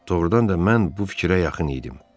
Doğrudan da mən bu fikrə yaxın idim.